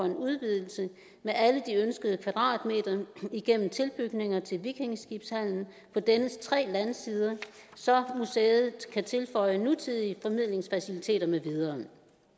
en udvidelse med alle de ønskede kvadratmeter gennem tilbygninger til vikingeskibshallen på dennes tre landsider så museet kan tilføje nutidige formidlingsfaciliteter med videre